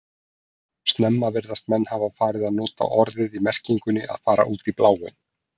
Snemma virðast menn hafa farið að nota orðið í merkingunni að fara út í bláinn.